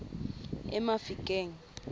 emafikeng